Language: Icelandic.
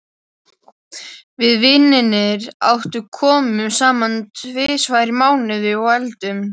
Við vinirnir átta komum saman tvisvar í mánuði og eldum.